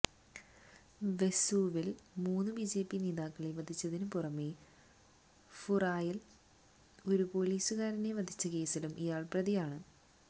വെസുവില് മൂന്ന് ബിജെപി നേതാക്കളെ വധിച്ചതിനു പുറമെ ഫുറായില് ഒരു പോലിസുകാരനെ വധിച്ച കേസിലും ഇയാള് പ്രതിയാണ്